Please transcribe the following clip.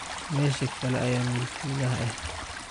Mesha kale ayan mulkilihaa eh.